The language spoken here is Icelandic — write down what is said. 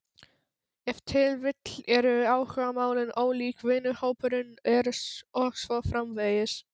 Ef til vill eru áhugamálin ólík, vinahópurinn og svo framvegis.